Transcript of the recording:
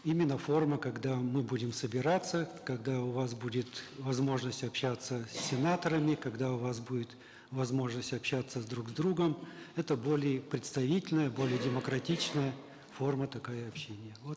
именно форма когда мы будем собираться когда у вас будет возможность общаться с сенаторами когда у вас будет возможность общаться друг с другом это более представительная более демократичная форма такая общения вот